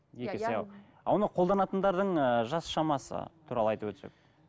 екі есе ал оны қолданатындардың ыыы жас шамасы туралы айтып өтсек